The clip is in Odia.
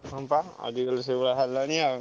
ହଁ ବା ଆଜିକାଲି ସେଇଆ ହେଲାଣି ଆଉ